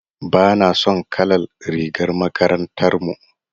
Bana son kalar rigar makarantar mu.